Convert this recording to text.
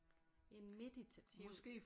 En meditativ